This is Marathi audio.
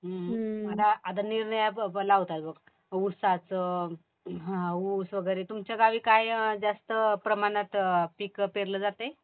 हम्म आता होत आहे बघ उसाचं, ऊस वगैरे. तुमच्या गावी काय जास्त प्रमाणात पीक पेरलं जातंय.